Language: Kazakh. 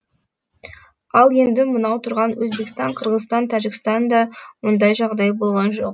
ал енді мынау тұрған өзбекстан қырғызстан тәжікстанда ондай жағдай болған жоқ